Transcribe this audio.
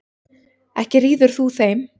Ekki ríður þú þeim.